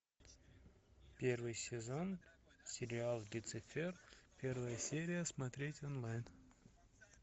первый сезон сериал люцифер первая серия смотреть онлайн